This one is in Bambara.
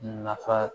Nafa